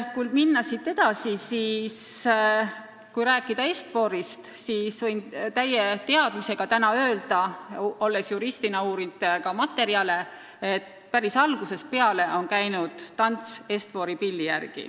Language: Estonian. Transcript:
Kui siit edasi minna ja rääkida Est-Forist, siis olles juristina asjaomaseid materjale uurinud, võin kinnitada, et päris algusest peale on tants käinud Est-Fori pilli järgi.